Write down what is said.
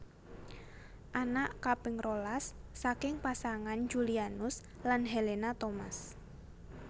Anak kaping rolas saking pasangan Julianus lan Helena Thomas